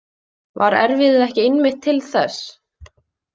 Var erfiðið ekki einmitt til þess?